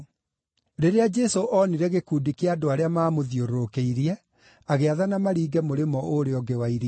Rĩrĩa Jesũ oonire gĩkundi kĩa andũ arĩa maamũthiũrũrũkĩirie, agĩathana maringe mũrĩmo ũrĩa ũngĩ wa iria.